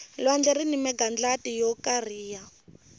lwandle rini magandlati yo kariha